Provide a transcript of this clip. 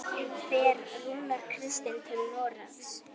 Fer Rúnar Kristins til Noregs?